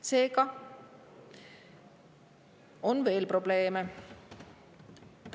Seega on veel probleeme.